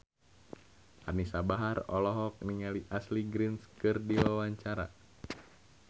Anisa Bahar olohok ningali Ashley Greene keur diwawancara